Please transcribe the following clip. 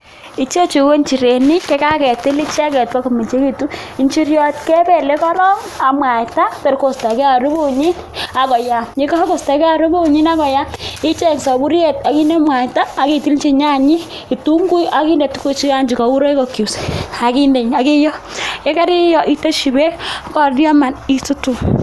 Ichechu ko njirenik che kaketil icheket ipkomengechitu injiriot kebelei korok ak mwaita ber koistogei harufunyi ak koyam ye kakoistogei harufunyi akoyam icheng safuriet ak inde mwaita ak itilji nyanyek kitunguik ak inde tukuchu gei chekaun royco cubes ak inde ak iooh yekario iteshi beek korurioman isutu.